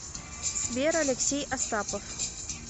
сбер алексей астапов